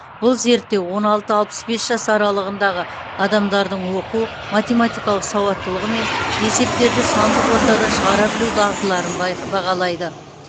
бұл зерттеу огн алты алпыс бес жас аралығындағы адамдардың оқу математикалық сауаттылығы мен есептерді сандық ортада шығара білу дағдыларын байқ бағалайды